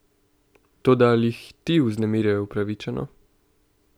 Toda ali jih ti vznemirjajo upravičeno?